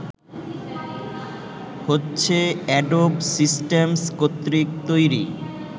হচ্ছে Adobe Systems কর্তৃক তৈরি